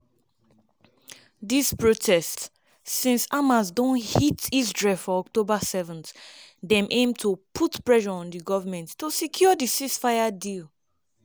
dis protests - since hamas don hit israel for october 7 - dem aim to put pressure on di goment to secure di ceasefire deal.